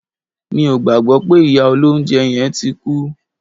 Mi ò gbàgbọ́ pé ìyá olóunjẹ yẹn tí kú